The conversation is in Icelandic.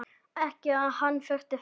Ekki að hann þurfi þess.